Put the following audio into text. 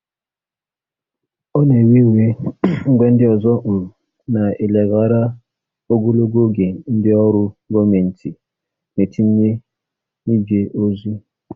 Ọ na-ewe iwe mgbe ndị ọzọ um na-eleghara ogologo oge ndị ọrụ gọọmentị na-etinye n'ije ozi.